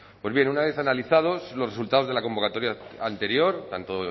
pues bien una vez analizados los resultados de la convocatoria anterior tanto